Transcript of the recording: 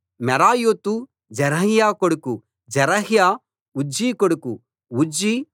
మెరాయోతు జెరహ్యా కొడుకు జెరహ్యా ఉజ్జీ కొడుకు ఉజ్జీ బుక్కీ కొడుకు